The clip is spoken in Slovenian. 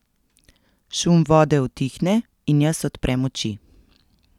Šum vode utihne in jaz odprem oči.